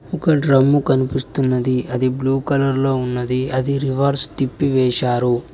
ఒక డ్రమ్ము కనిపిస్తున్నది అది బ్లూ కలర్ లో ఉన్నది అది రివర్స్ తిప్పి వేశారు.